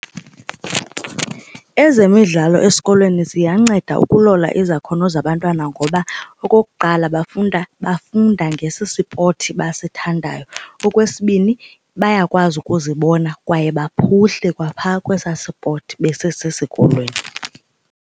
Ezemidlalo esikolweni ziyanceda ukulola izakhono zabantwana ngoba okokuqala bafunda bafunda ngesi sipothi basithandayo. Okwesibini bayakwazi ukuzibona kwaye baphuhle kwapha kwesaa sipoti besesesikolweni.